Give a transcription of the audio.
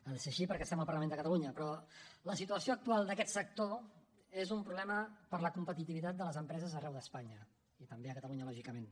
ha de ser així perquè estem al parlament de catalunya però la situació actual d’aquest sector és un problema per a la competitivitat de les empreses arreu d’espanya i també a catalunya lògicament